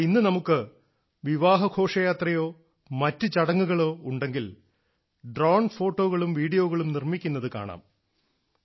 എന്നാൽ ഇന്ന് നമുക്ക് വിവാഹ ഘോഷയാത്രയോ മറ്റു ചടങ്ങുകളോ ഉണ്ടെങ്കിൽ ഡ്രോൺ ഫോട്ടോകളും വീഡിയോകളും നിർമ്മിക്കുന്നത് കാണാം